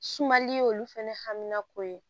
Sumali y'olu fɛnɛ haminako ye